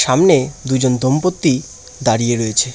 সামনে দুইজন দম্পতি দাঁড়িয়ে রয়েছে।